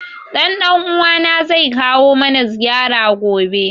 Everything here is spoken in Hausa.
Ɗan ɗan uwa na zai kawo mana ziyara gobe